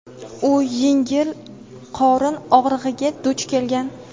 u yengil qorin og‘rig‘iga duch kelgan.